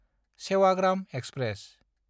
Sevagram express